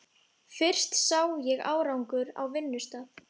Fyrst sá ég árangur á vinnustað.